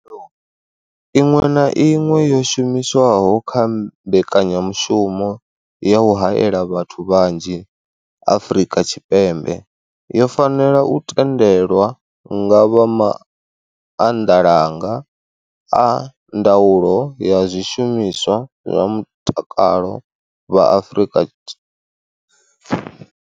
Khaelo iṅwe na iṅwe yo shumiswaho kha mbekanyamushumo ya u haela vhathu vhanzhi Afrika Tshipembe yo fanela u tendelwa nga vha maanḓalanga a ndaulo ya zwishumiswa zwa mutakalo vha Afrika.